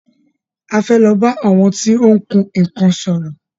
A fẹ́ lọ bá àwọn tí ó ń kun nnkan sòrò.